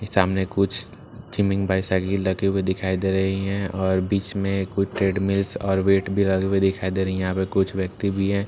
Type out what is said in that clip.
सामने कुछ थीमिंग बाईसाइकिल लगे हुए दिखाई दे रहे है और बीच में कुछ ट्रेड मिल्स और वेट भी लगी हुई दिखाई दे रही है यहाँ पर कुछ व्यक्ति भी है --